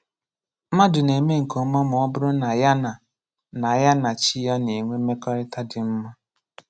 Mlmadụ na-eme nke ọma ma ọ bụrụ na ya na na ya na Chi ya na-enwe mmekọrịta dị mma.